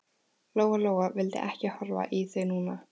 Lóa Lóa vildi ekki horfa í þau núna.